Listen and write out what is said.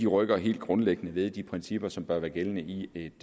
rykker helt grundlæggende ved de principper som bør være gældende i et